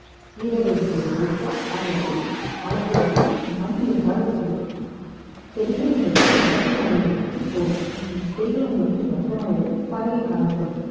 கீரை வகைகள் விளைவிக்க அரை அடி ஆழத்திற்கு மேல் மண் இருந்தால் போதும் செடிகள் உங்கள் வீட்டு மொட்டை மாடியில் இருந்து போதும் செடிகள் உங்கள் வீட்டு மொட்டை மாடியில் இருந்து பரவி காணப்படும்